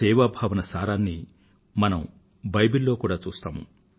సేవాభావం సారాన్ని మనం బైబిల్ లో కూడా చూస్తాము